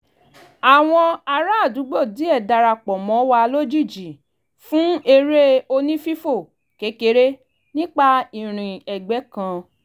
àwọn ará àdúgbò díẹ̀ dára pọ̀ mọ́ wa lójijì fún eré onífífò kékeré nípa ìrìn ẹ̀gbẹ́ kan